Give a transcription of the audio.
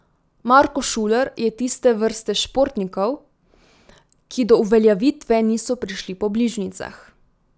Marko Šuler je tiste vrste športnikov, ki do uveljavitve niso prišli po bližnjicah.